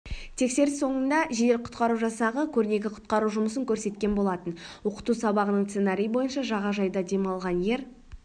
тексеріс соңында жедел-құтқару жасағы көрнекі құтқару жұмысын көрсеткен болатын оқыту сабағының сценарийі бойынша жағажайда демалған ер